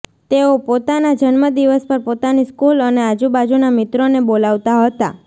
તેઓ પોતાના જન્મદિવસ પર પોતાની સ્કૂલ અને આજુબાજુના મિત્રોને બોલાવતા હતા